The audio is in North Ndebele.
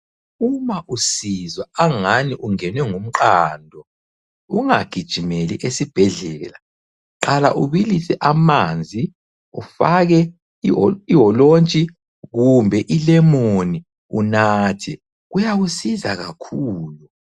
Uma usizwa angani ungenwe ngumqando, ungagijimeli esibhedlela qala ubilise amanzi, ufake iholontshi kumbe ilemoni unathe, kuyakusiza kakhulu.